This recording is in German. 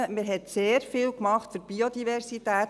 Man hat sehr viel gemacht für die Biodiversität.